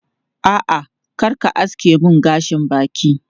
A'a, kar ka aske mun gashin bakin.